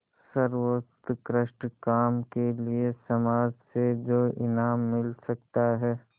सर्वोत्कृष्ट काम के लिए समाज से जो इनाम मिल सकता है